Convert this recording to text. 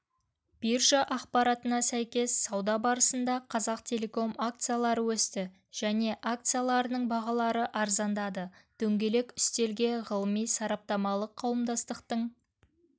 биржа ақпаратына сәйкес сауда барысында қазақтелеком акциялары өсті және акцияларының бағалары арзандады дөңгелек үстелге ғылыми-сараптамалық қауымдастықтың